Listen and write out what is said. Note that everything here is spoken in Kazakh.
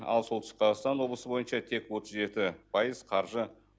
ал солтүстік қазақстан облысы бойынша тек отыз жеті пайыз қаржы